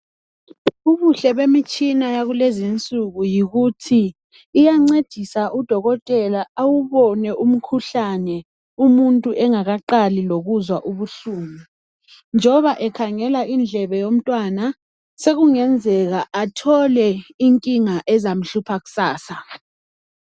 Ubuhle bemitshina yakulezi insuku yikuthi iyancedisa udokotela awubone umkhuhlane umuntu engakaqali lokuzwa ubuhlungu njoba ekhangela indlebe yomntwana sekungenzeka athole inkinga ezamhlupha kusasa.